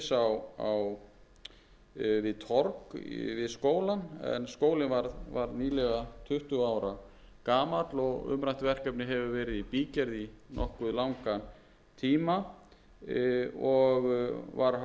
og fimm milljónir króna það er í fyrsta lagi stofnkostnaður til framhaldsskólans á laugum vegna frágangsverkefnis við torg við skólann en skólinn varð nýlega tuttugu ára gamall og umrætt verkefni hefur verið í bígerð í nokkuð langan tíma og var hafin